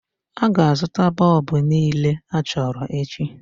A ga-azụta bọlbụ niile achọrọ echi